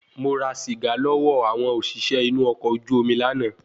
Mo ra sìgá lọ́wọ́ àwọn òṣìṣẹ́ inu ọkọ̀ ojú omi lànà